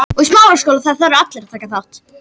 Það sem ég grét þennan dag